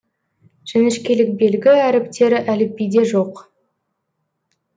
ь әріптері әліпбиде жоқ